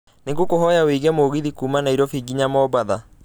nĩ ngũkũhoya wiĩge mũgithi kuuma Nairobi nginya mombatha